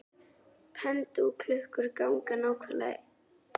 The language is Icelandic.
Pendúlklukkur ganga nákvæmlega eins.